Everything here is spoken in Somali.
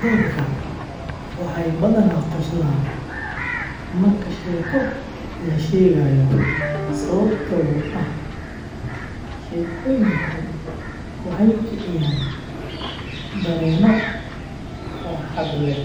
Dadka waxay badanaa qoslaan marka sheeko la sheegayo sababtoo ah sheekooyinku waxay kiciyaan dareenno farxad leh,